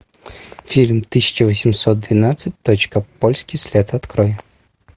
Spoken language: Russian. фильм тысяча восемьсот двенадцать точка польский след открой